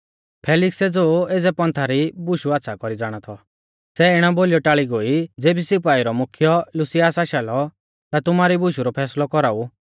फेलिक्सै ज़ो एज़ै पंथा री बुशु आच़्छ़ा कौरी ज़ाणा थौ सै इणै बोलीयौ टाल़ी गोई ज़ेबी सिपाइऊ रौ मुख्यै लुसियास आशा लौ ता तुमारी बुशु रौ फैसलौ कौराऊ